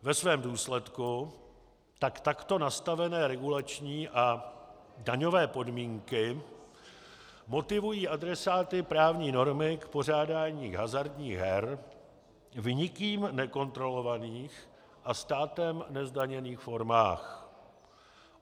Ve svém důsledku tak takto nastavené regulační a daňové podmínky motivují adresáty právní normy k pořádání hazardních her v nikým nekontrolovaných a státem nezdaněných formách.